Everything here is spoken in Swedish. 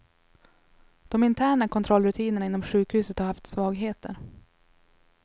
De interna kontrollrutinerna inom sjukhuset har haft svagheter.